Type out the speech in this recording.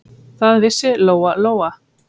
Það vissi Lóa-Lóa.